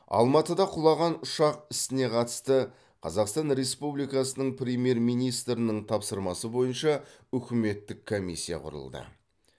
алматыда құлаған ұшақ ісіне қатысты қазақстан республикасының премьер министрінің тапсырмасы бойынша үкіметтік комиссия құрылды